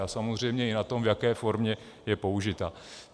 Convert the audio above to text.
A samozřejmě i na tom, v jaké formě je použita.